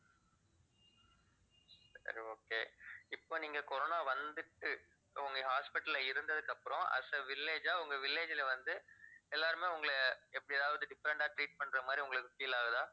சரி okay இப்ப நீங்க corona வந்துட்டு, உங்க hospital ல இருந்ததுக்கு அப்புறம் as a village ஆ உங்க village ல வந்து எல்லாருமே உங்களை எப்பயாவது different ஆ treat பண்ற மாதிரி உங்களுக்கு feel ஆகுதா